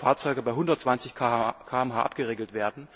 Fahrzeuge bei 120 km h abgeregelt werden.